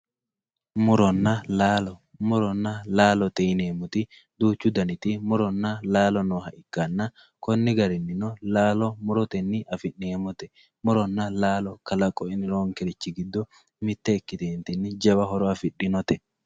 Murona laalo murona laalote yineemoti duuchu daniti murona laalo nooha ikana koni garinino laalo muroteni afinemote murona laalo qalaqo nonkerichi giddo miyte ikiteena jawa horo afidhinote.